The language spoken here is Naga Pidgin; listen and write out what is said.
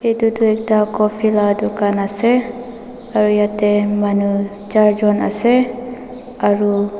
itu ekta coffee la dukan ase aru yeteh manu charjun ase aru.